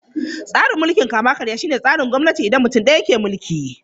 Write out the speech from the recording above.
Tsarin mulkin kama-karya shine tsarin gwamnati inda mutum ɗaya ke mulki.